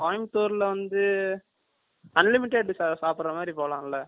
Coimbatore ல வந்து unlimited சாப்பிர மாதிரி போலாம்ல